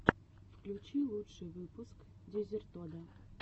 включи лучший выпуск дезертода